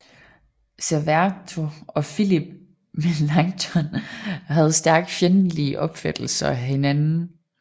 Serveto og Philip Melanchthon havde stærkt fjendtlige opfattelser af hinanden